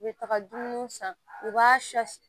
U bɛ taga dumuni san u b'a